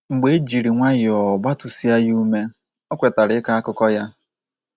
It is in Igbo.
Mgbe e jiri nwayọọ gbatụsịa ya ume, o kwetara ịkọ akụkọ ya.